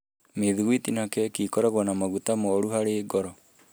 Mĩthugwiti na keki nĩ ikoragwo na maguta moru harĩ ngoro.